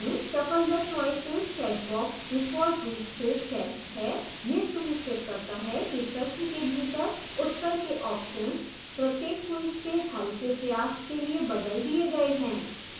shuffle the choices checkbox default रूप से checked है